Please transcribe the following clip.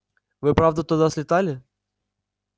вы правда туда слетали